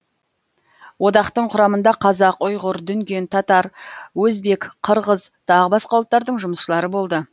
одақтың құрамында қазақ ұйғыр дүнген татар өзбек қырғыз тағы басқа ұлттардың жұмысшылары болды